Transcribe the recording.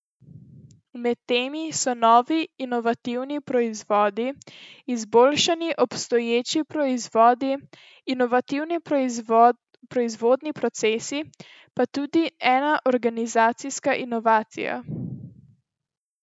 Med temi so novi inovativni proizvodi, izboljšani obstoječi proizvodi, inovativni proizvodni procesi pa tudi ena organizacijska inovacija.